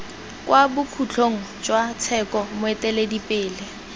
kwa bokhutlong jwa tsheko moeteledipele